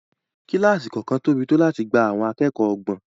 Kílásì kọ̀ọ̀kan tóbi tó láti gba àwọn akẹ́kọ̀ọ́ ọgbọ̀n